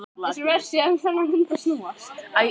Horfði á þá, reiður og hneykslaður.